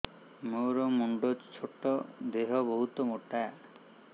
ମୋର ମୁଣ୍ଡ ଛୋଟ ଦେହ ବହୁତ ମୋଟା